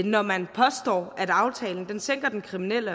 når man påstår at aftalen sænker den kriminelle